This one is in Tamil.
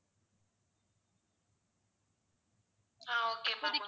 ah okay ma'am